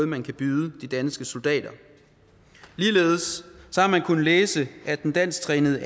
man kan byde de danske soldater ligeledes har man kunnet læse at den dansktrænede